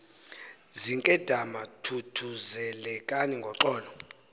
zinkedama thuthuzelekani ngoko